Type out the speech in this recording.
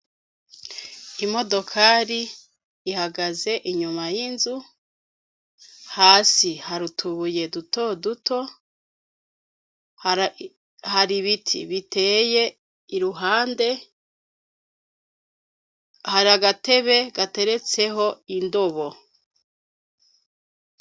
Imodokari ihagaze inyuma y'inzu hasi hari utubuye dutoduto har'ibiti biteye iruhande hari agatebe gateretseho indobo.